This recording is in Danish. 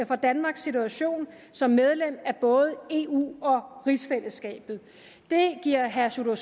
for danmarks situation som medlem af både eu og rigsfællesskabet det giver herre sjúrður